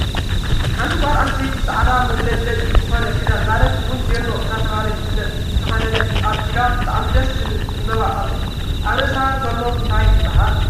ሓንቲ ጎል ኣንስትየቲ ፃዕዳ መብለጭለጫይ ዝኮነ ክዳን ማለት እውን ቬሎ እናተባህለ ዝፈለጥ ዝተከደነትን ኣብ ኢዳ ብጣዕሚ ደስ ዝብል ዕንበባ አሎ። ኣብ ርእሳ ዘሎ እንታይ ይብሃል?